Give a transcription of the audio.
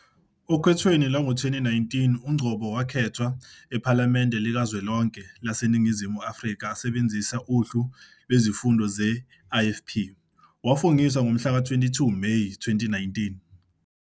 Okhethweni lwango-2019, uNgcobo wakhethwa ePhalamende Likazwelonke laseNingizimu Afrika esebenzisa uhlu lwezifunda ze-IFP. Wafungiswa ngomhlaka 22 Meyi 2019.